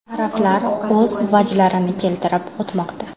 Taraflar o‘z vajlarini keltirib o‘tmoqda.